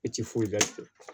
I ti foyi la